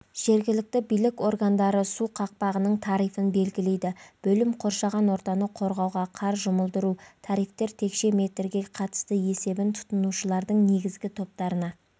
жергілікті билік органдары су қақпағының тарифін белгілейді бөлім қоршаған ортаны қорғауға қар жұмылдыру тарифтер текше метрге қатысты есебі тұтынушылардың негізгі топтарына